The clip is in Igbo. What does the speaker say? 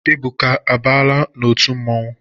Ebuka abaala n'otu mmanwụ?